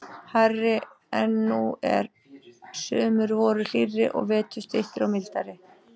hærri en nú er, sumur voru hlýrri og vetur styttri og mildari.